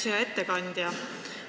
Hea ettekandja!